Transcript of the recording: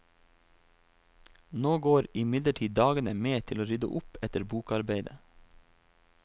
Nå går imidlertid dagene med til å rydde opp etter bokarbeidet.